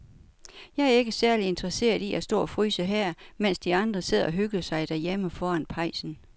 Jeg er ikke særlig interesseret i at stå og fryse her, mens de andre sidder og hygger sig derhjemme foran pejsen.